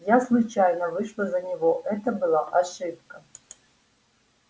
я случайно вышла за него это была ошибка